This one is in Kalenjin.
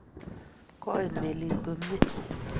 Koit melit komye.